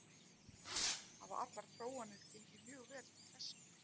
Hafa allar prófanir gengið mjög vel til þessa.